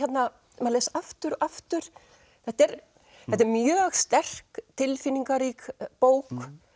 maður les aftur og aftur þetta er þetta er mjög sterk tilfinningarík bók